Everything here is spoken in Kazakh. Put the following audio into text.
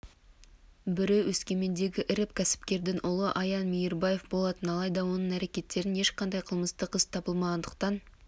бірі өскемендегі ірі кәсіпкердің ұлы аян мейірбаев болатын алайда оның әрекеттерінен ешқандай қылмыстық іс табылмағандықтан